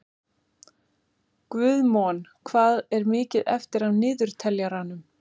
Guðmon, hvað er mikið eftir af niðurteljaranum?